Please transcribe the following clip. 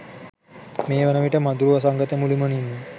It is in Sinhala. මේ වනවිට මදුරු වසංගතය මුළුමනින්ම